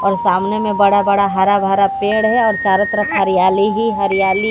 और सामने में बड़ा बड़ा हरा भरा पेड़ है और चारों तरफ हरियाली ही हरियाली--